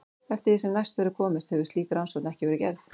Eftir því sem næst verður komist hefur slík rannsókn ekki verið gerð.